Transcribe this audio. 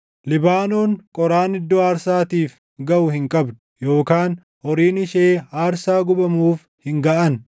Libaanoon qoraan iddoo aarsaatiif gaʼu hin qabdu, yookaan horiin ishee aarsaa gubamuuf hin gaʼan.